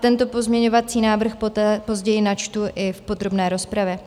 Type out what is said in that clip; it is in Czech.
Tento pozměňovací návrh později načtu i v podrobné rozpravě.